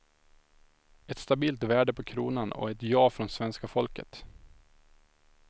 Ett stabilt värde på kronan och ett ja från svenska folket.